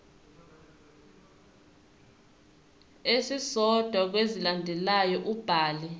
esisodwa kwezilandelayo ubhale